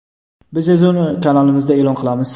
Biz esa uni kanalimizda e’lon qilamiz.